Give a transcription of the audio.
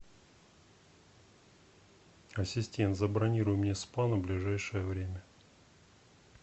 ассистент забронируй мне спа на ближайшее время